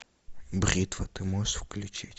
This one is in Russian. бритва ты можешь включить